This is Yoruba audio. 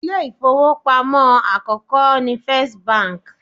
Ilé ìfowópamọ́ àkókò ni First Bank.